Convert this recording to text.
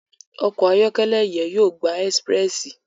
Ọkọ ayọkẹlẹ yen yóò gbà Expréssi